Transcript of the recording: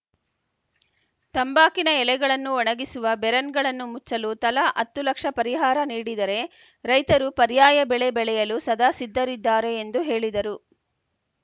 ತಂಬಾಕಿನ ಎಲೆಗಳನ್ನು ಒಣಗಿಸುವ ಬೆರನ್‌ಗಳನ್ನು ಮುಚ್ಚಲು ತಲಾ ಹತ್ತು ಲಕ್ಷ ಪರಿಹಾರ ನೀಡಿದರೆ ರೈತರು ಪರ್ಯಾಯ ಬೆಳೆ ಬೆಳೆಯಲು ಸದಾ ಸಿದ್ಧರಿದ್ದಾರೆ ಎಂದು ಹೇಳಿದರು